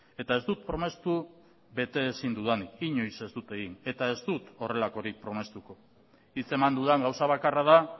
eta ez dut promestu bete ezin dudanik inoiz ez dut egin eta ez dut horrelakorik promestuko hitz eman dudan gauza bakarra da